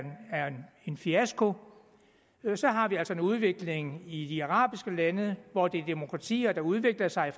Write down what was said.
en fiasko og så har vi altså en udvikling i de arabiske lande hvor det er demokratier der udvikler sig